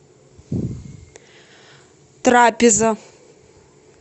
трапеза